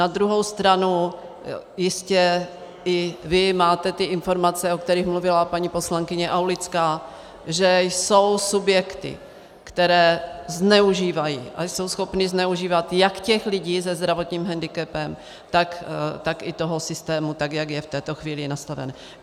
Na druhou stranu jistě i vy máte ty informace, o kterých mluvila paní poslankyně Aulická, že jsou subjekty, které zneužívají a jsou schopny zneužívat jak těch lidí se zdravotním hendikepem, tak i toho systému, tak jak je v této chvíli nastaven.